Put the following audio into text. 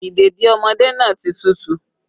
Ìdèdí ọmọdé náà ti tútù